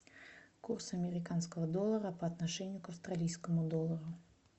курс американского доллара по отношению к австралийскому доллару